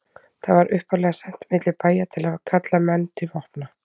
Það var upphaflega sent milli bæja til að kalla menn til vopna.